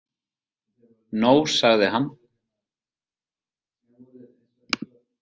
No, sagði hann.